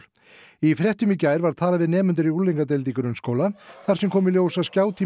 í fréttum í gær var talað við nemendur í unglingadeild grunnskóla þar sem kom í ljós að